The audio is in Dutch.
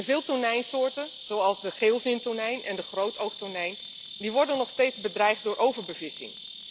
Veel tonijnsoorten, zoals de geelvintonijn en de grootoogtonijn, worden nog steeds bedreigd door overbevissing.